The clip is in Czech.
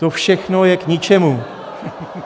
To všechno je k ničemu.